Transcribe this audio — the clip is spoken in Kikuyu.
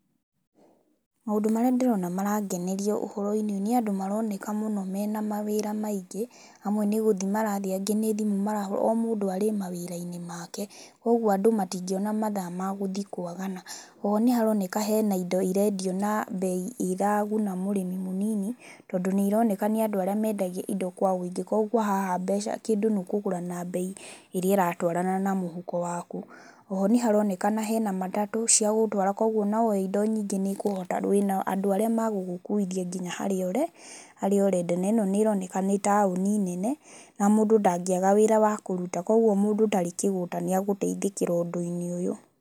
Maũndũ marĩa ndĩrona marangeneria ũhoro-inĩ ũyũ, nĩ andũ maroneka mũno mena mawĩra maingĩ, amwe nĩ gũthiĩ marathiĩ, angĩ nĩ thimũ marahũra, o mũndũ arĩ mawĩra-inĩ maake kwoguo andũ matingĩona mathaa ma gũthiĩ kwagana. Oho nĩ haroneka hena indo irendio na mbei iraguna mũrĩmi mũnini, tondũ nĩ ironeka nĩ andũ arĩa mendagia indo kwa ũingĩ koguo haha mbeca, kĩndũ nĩ kũgũra na mbei ĩrĩa ĩratwarana na mũhuko waku. Oho nĩ haronekana hena matatũ cia gũgũtwara kwoguo o na woya indo nyingĩ nĩ ũkũhota..wĩna andũ arĩa magũgũkuithia nginya harĩa ũre? Harĩa ũrenda na ĩno nĩ ĩroneka nĩ taũni nene na mũndũ ndangĩaga wĩra wa kũruta, koguo mũndũ ũtarĩ kĩgũta nĩ agũteithĩkĩra ũndũ-inĩ ũyũ.